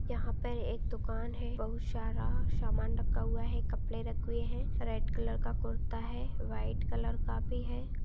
यहाँ पे एक दुकान है बहुत सारा समान रखा हुआ है कपड़े रखे हुए है रेड कलर का कुर्ता है व्हाइट कलर का भी हैं।